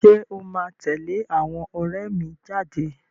Ṣé o máa tẹ̀lé àwọn ọ̀rẹ́ mi jáde?